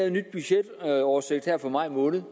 en ny budgetoversigt for maj måned